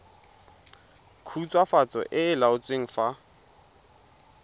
khutswafatso e e laotsweng fa